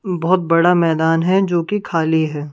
बहोत बड़ा मैदान है जोकि खाली है।